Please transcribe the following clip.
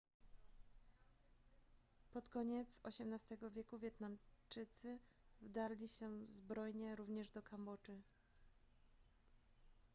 pod koniec xviii wieku wietnamczycy wdarli się zbrojnie również do kambodży